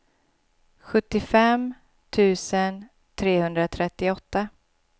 sjuttiofem tusen trehundratrettioåtta